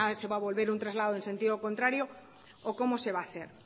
si ahora se va a volver a un traslado en sentido contrario o cómo se va a hacer